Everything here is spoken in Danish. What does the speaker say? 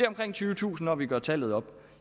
omkring tyvetusind når vi gør tallet op